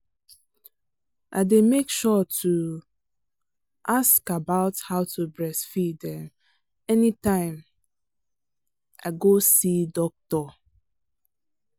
i day make sure to um ask about how to breastfeed um anytime i go see doctor.